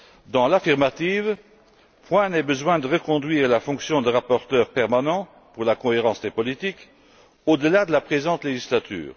Dans l'affirmative, point n'est besoin de reconduire la fonction de rapporteur permanent pour la cohérence des politiques au delà de la présente législature.